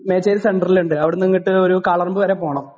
മേച്ചേരി സെൻററിൽ ഉണ്ട്. അവിടെ നിന്ന് അങ്ങോട്ട് ഒരു കാളറമ്പ് വരെ പോകണം.